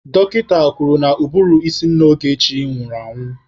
Dọkịta kwuru na ụbụrụ ísí nna Ogechi nwụrụ anwụ.